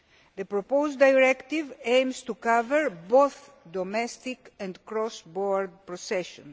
The proposed directive aims to cover both domestic and cross border processing.